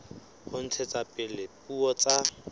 ho ntshetsa pele dipuo tsa